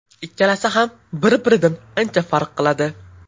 Ikkalasi ham bir-biridan ancha farq qiladi.